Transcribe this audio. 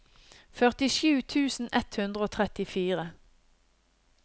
førtisju tusen ett hundre og trettifire